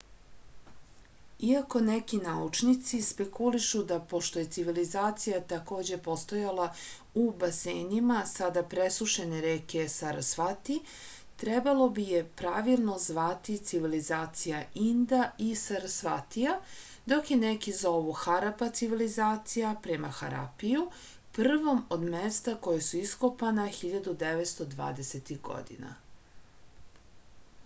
iako neki naučnici spekulišu da pošto je civilizacija takođe postojala u basenima sada presušene reke sarasvati trebalo bi je pravilno zvati civilizacija inda i sarasvatija dok je neki zovu harapa civilizacija prema harapiju prvom od mesta koja su iskopana 1920-ih godina